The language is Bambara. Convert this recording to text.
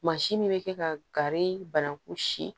Mansin min bɛ kɛ ka gari banankun si